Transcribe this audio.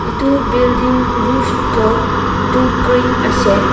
edu building roof toh edu green ahshae.